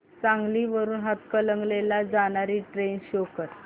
सांगली वरून हातकणंगले ला जाणारी ट्रेन शो कर